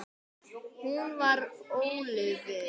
Hún var ólofuð.